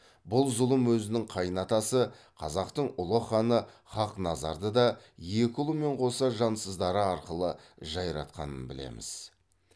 бұл зұлым өзінің қайын атасы қазақтың ұлы ханы хақназарды да екі ұлымен қоса жансыздары арқылы жайратқанын білеміз